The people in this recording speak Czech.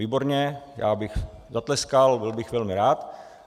- Výborně, já bych zatleskal, byl bych velmi rád.